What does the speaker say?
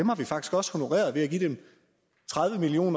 har vi faktisk også honoreret ved at give dem tredive million